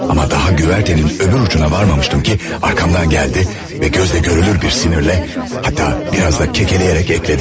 Amma daha güvərtənin öbür ucuna varmamıştım ki, arkamdan gəldi və gözlə görülür bir sinirlə, hətta biraz da kekələyərək əklədi.